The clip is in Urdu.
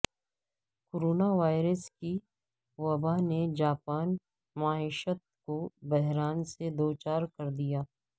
کورونا وائرس کی وبا نے جاپانی معیشت کو بحران سے دو چار کر دیا